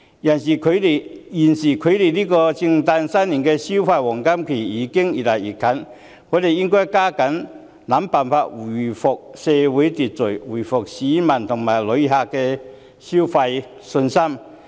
尤其是現時距離聖誕、新年的消費黃金期越來越近，我們應該加緊想辦法回復社會秩序、恢復市民和旅客的消費信心。